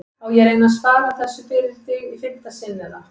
Á ég að reyna að svara þessu fyrir þig í fimmta sinn eða?